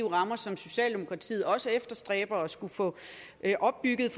rammer som socialdemokratiet også efterstræber at skulle få opbygget